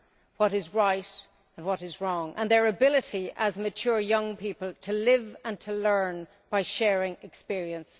what is right and what is wrong, and their ability as mature young people to live and learn by sharing experiences.